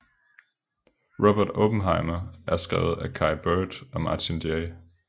Robert Oppenheimer skrevet af Kai Bird og Martin J